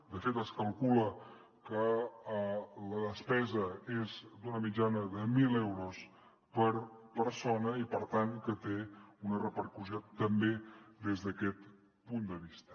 de fet es calcula que la despesa és d’una mitjana de mil euros per persona i per tant que té una repercussió també des d’aquest punt de vista